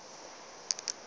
tla be e le go